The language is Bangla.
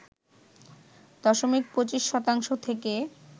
দশমিক ২৫ শতাংশ থেকে